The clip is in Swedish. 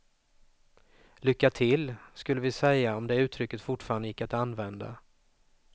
Lycka till, skulle vi säga om det uttrycket fortfarande gick att använda.